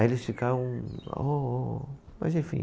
Aí eles ficaram, ó, ó... Mas enfim.